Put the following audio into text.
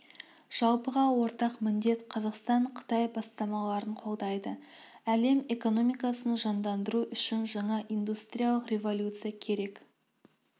жалпыға ортақ міндет қазақстан қытай бастамаларын қолдайды әлем экономикасын жандандыру үшін жаңа индустриялық революция керек